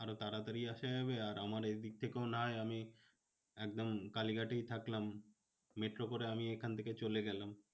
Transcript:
আরো তাড়াতাড়ি আসা যাবে আর আমার এদিক থেকেও নয় আমি একদম কালিঘাটেই থাকলাম। মেট্রো করে আমি এখান থেকে চলে গেলাম।